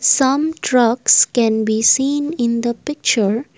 some trucks can be seen in the picture.